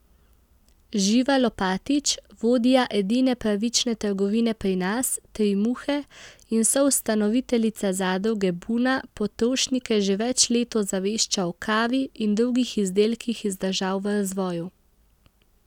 Živa Lopatič, vodja edine pravične trgovine pri nas, Tri muhe, in soustanoviteljica zadruge Buna, potrošnike že več let ozavešča o kavi in drugih izdelkih iz držav v razvoju.